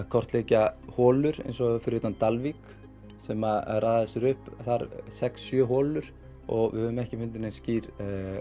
kortleggja holur eins og fyrir utan Dalvík sem raða sér upp þar sex sjö holur og við höfum ekki fundið neinar skýrar